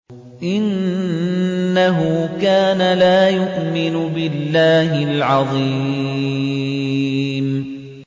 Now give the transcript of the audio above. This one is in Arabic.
إِنَّهُ كَانَ لَا يُؤْمِنُ بِاللَّهِ الْعَظِيمِ